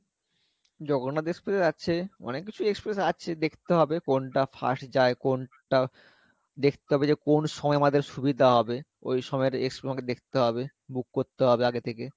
Jagannath express আছে অনেক কিছু express আছে দেখতে হবে কোনটা fast যাই কোনটা দেখতে হবে যে কোন সময় আমাদের সুবিধা হবে ওই সময় তোমাকে দেখতে হবে book করতে হবে আগে থেকে